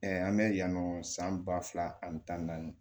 an bɛ yan nɔ san ba fila ani tan ni naani